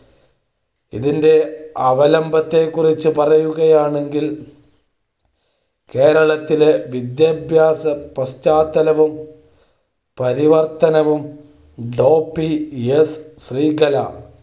ഇതിന്റെ അവലംബത്തെക്കുറിച് പറയുകയാണെങ്കിൽ കേരളത്തിലെ വിദ്യാഭ്യാസം പശ്ചാത്തലവും പരിവർത്തനവും ഡോ. പി. എസ് ശ്രീകല